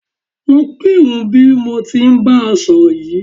Lọ kírun bí mo ti ń bá ẹ sọ̀rọ̀ yìí